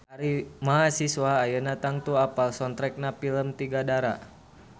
Mahasiswa ayeuna tangtu apal soundtrackna pilem Tiga Dara